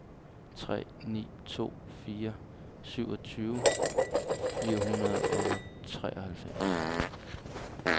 tre ni to fire syvogtyve fire hundrede og treoghalvfems